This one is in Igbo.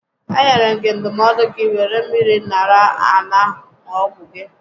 E nyere gị ndụmọdụ gị wéré mmiri ṅara aṅa ṅụọ ọgwụ gị